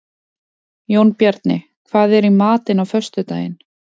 Jónbjarni, hvað er í matinn á föstudaginn?